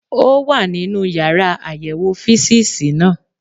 Ó wà nínú yàrá àyẹ̀wò físììsì náà